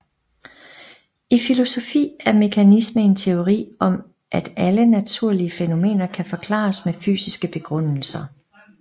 I filosofi er mekanisme en teori om at alle naturlige fænomener kan forklares med fysiske begrundelser